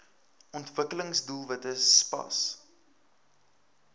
ontwikkelings doelwitte spas